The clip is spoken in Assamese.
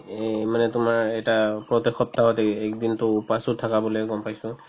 এই মানে তোমাৰ এটা প্ৰত্যক সপ্তাহত এ~ একদিনতো ওপ্ৱাশ ও থাকা বুলি গম পাইছো